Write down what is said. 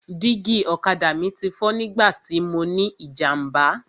Dígí ọ̀kadà mi ti fọ́ nígbà tí mọ ní ìjàmbá.